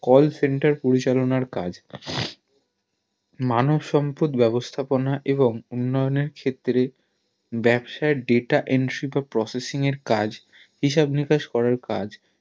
call center পরিচালনার কাজ মানব সম্পদ ব্যাবস্থাপনা এবং উন্নয়নের ক্ষেত্রে ব্যাবসায়ে data entry বা processing এর কাজ হিসাব নিকাশ করার কাজ